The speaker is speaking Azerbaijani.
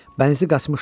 Bənizi qaçmışdı.